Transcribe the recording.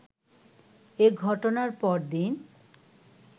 এ ঘটনার পরদিন